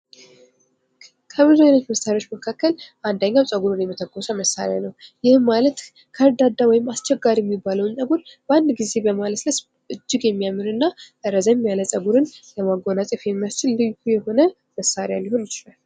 ከብዙ አይነት መሳሪያዎች መካከል አንድኛው ጸጉርን የመተኮስ መሳሪያ ነው። ይህም ማለት ከርዳዳ ወይም አስቸጋሪ የሚባለውን ጸጉር በማለስለስ እጅግ የሚያምርና ረዘም ያለ ጸጉርን ለመጎናጸፍ የሚያስችል ልዩ የሆነ መሳሪያ ሊሆን ይችላል።